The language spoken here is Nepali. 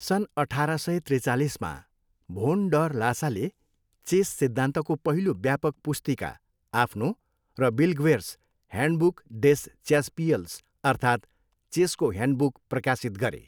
सन् अठार सय त्रिचालिसमा, भोन डर लासाले चेस सिद्धान्तको पहिलो व्यापक पुस्तिका आफ्नो र बिल्ग्वेर्स हयान्डबुक डेस च्यासपियल्स अर्थात् चेसको ह्यान्डबुक प्रकाशित गरे।